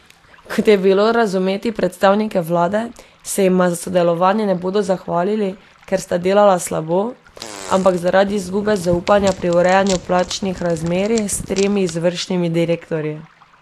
Kot je bilo razumeti predstavnike vlade, se jima za sodelovanje ne bodo zahvalili, ker sta delala slabo, ampak zaradi izgube zaupanja pri urejanju plačnih razmerij s tremi izvršnimi direktorji.